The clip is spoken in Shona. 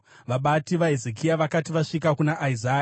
Vabati vaHezekia vakati vasvika kuna Isaya,